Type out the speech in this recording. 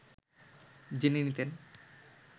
জেনে নিতেন